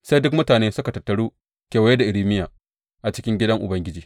Sai duk mutane suka tattaru kewaye da Irmiya a cikin gidan Ubangiji.